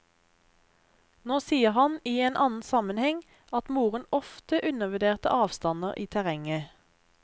Nå sier han i annen sammenheng at moren ofte undervurderte avstander i terrenget.